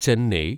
Chennai